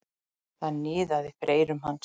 Það niðaði fyrir eyrum hans.